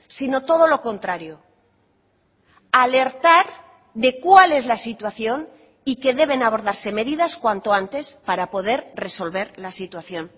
sino todo lo contrario alertar de cuál es la situación y que deben abordarse medidas cuanto antes para poder resolver la situación